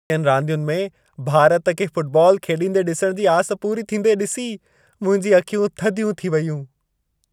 रांदियुनि में भारत खे फ़ुटबॉल खेॾींदे ॾिसण जी आस पूरी थींदे ॾिसी, मुंहिंजी अखियूं थधियूं थी वेयूं।